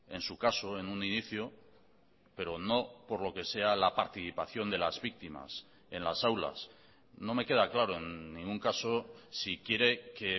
en su caso en un inicio pero no por lo que sea la participación de las víctimas en las aulas no me queda claro en ningún caso si quiere que